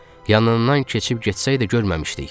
Yanından keçib getsəydə görməmişdik.